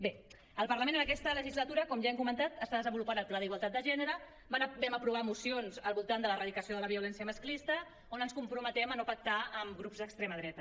bé el parlament en aquesta legislatura com ja hem comentat està desenvolupant el pla d’igualtat de gènere vam aprovar mocions al voltant de l’erradicació de la violència masclista on ens comprometem a no pactar amb grups d’extrema dreta